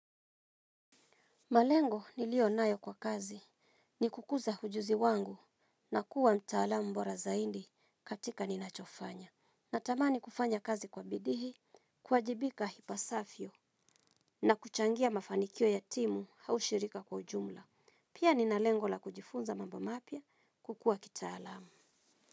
Malengo niliyo nayo kwa kazi ni kukuza ujuzi wangu na kuwa mtaalamu bora zaidi katika ninachofanya. Natamani kufanya kazi kwa bidii. Kuwajibika ipasavyo na kuchangia mafanikio ya timu au shirika kwa jumla. Pia nina lengo la kujifunza mambo mapya kukua kitaalamu.